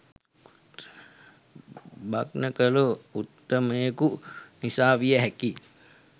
භග්න කළ උත්තමයකු නිසා විය හැකියි.